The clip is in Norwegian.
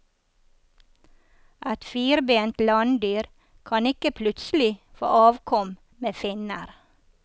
Et firbent landdyr kan ikke plutselig få avkom med finner.